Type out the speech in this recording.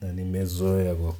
Na nimezoea kwa.